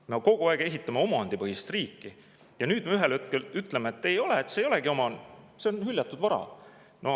Me kogu aeg ehitame omandipõhist riiki, aga nüüd me ühel hetkel ütleme, et ei, see ei olegi omand, see on hüljatud vara.